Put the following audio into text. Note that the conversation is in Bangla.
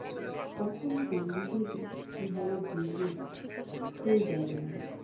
কখন কোনদিকে কিভাবে ঘুরবে? কেউ জানে না।